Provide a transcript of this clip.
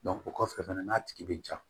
o kɔfɛ fana n'a tigi bɛ ja